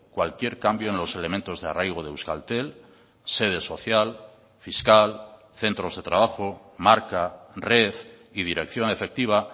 cualquier cambio en los elementos de arraigo de euskaltel sede social fiscal centros de trabajo marca red y dirección efectiva